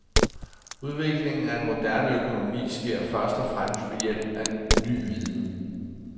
Udviklingen af en moderne økonomi sker først og fremmest ved hjælp af ny viden.